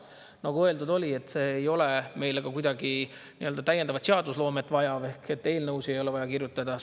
Nagu öeldud, selleks ei ole vaja meil ka nii-öelda täiendavat seadusloomet ehk et eelnõusid ei ole vaja kirjutada.